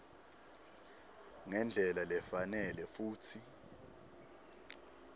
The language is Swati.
ngendlela lefanele futsi